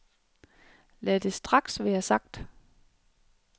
Lad det straks være sagt.